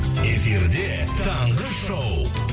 эфирде таңғы шоу